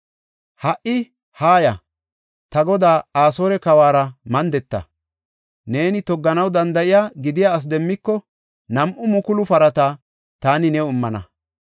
Ha77i haaya; ta godaa Asoore kawuwara mandeta. Neeni togganaw danda7iya, gidiya asi demmiko, nam7u mukulu parata taani new immana.